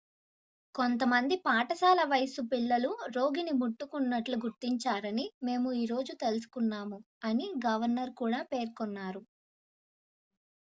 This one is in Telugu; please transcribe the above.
"""కొంతమంది పాఠశాల వయస్సు పిల్లలు రోగిని ముట్టుకున్నట్లు గుర్తించారని మేము ఈ రోజు తెలుసుకున్నాము" అని గవర్నర్ కూడా పేర్కొన్నారు.